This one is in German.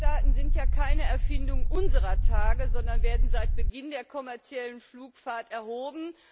Fluggastdaten sind keine Erfindung unserer Tage, sondern werden seit Beginn der kommerziellen Luftfahrt erhoben.